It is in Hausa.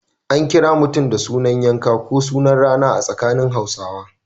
Akan kira mutum da sunan yanka ko sunan rana a tsakanin Hausawa.